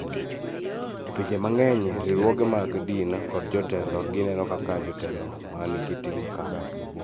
E pinje mang�eny, riwruoge mag dini kod jotelo gineno kaka jotelo ma nigi tim makare.